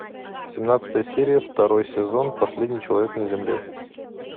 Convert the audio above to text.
семнадцатая серия второй сезон последний человек на земле